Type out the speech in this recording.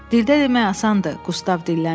Dildə demək asandır, Qustav dilləndi.